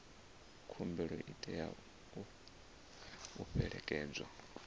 khumbelo i tea u fhelekedzwa